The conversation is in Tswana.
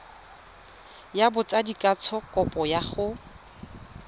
ya botsadikatsho kopo ya go